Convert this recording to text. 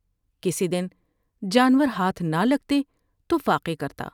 کسی دن جانور ہاتھ نہ لگتے تو فاقے کرتا ۔